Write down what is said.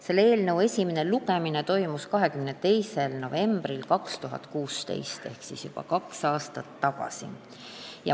Selle eelnõu esimene lugemine toimus 22. novembril 2016 ehk juba kaks aastat tagasi.